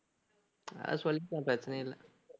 அது சொல்லிக்கலாம் பிரச்சனை இல்லை